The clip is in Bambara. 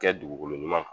Kɛ dugukolo ɲuman kan